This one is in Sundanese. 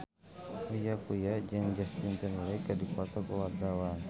Uya Kuya jeung Justin Timberlake keur dipoto ku wartawan